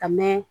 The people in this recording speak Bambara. Ka mɛn